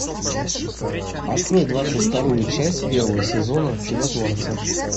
открой двадцать вторую часть первого сезона чудотворцы